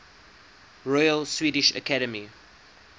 royal swedish academy